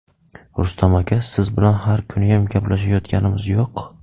Rustam aka, siz bilan har kuniyam gaplashayotganimiz yo‘q.